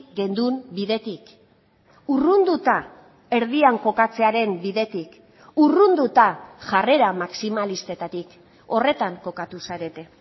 genuen bidetik urrunduta erdian kokatzearen bidetik urrunduta jarrera maximalistetatik horretan kokatu zarete